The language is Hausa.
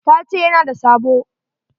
Ta ce ya na da sabo.